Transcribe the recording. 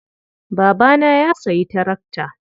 Babana ya sayi tarakta.